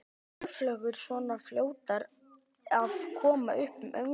Eru spörfuglar svona fljótir að koma upp ungum?